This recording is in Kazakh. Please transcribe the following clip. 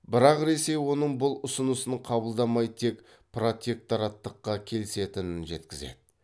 бірақ ресей оның бұл ұсынысын қабылдамай тек протектораттыққа келісетінін жеткізеді